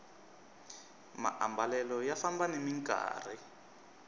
maambalelo ya famba nimi nkarhi